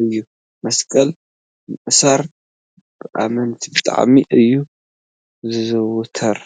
እዩ። መስቀል ምእሳር ብኣመንቲ ብጣዕሚ እዩ ዝዝውተር።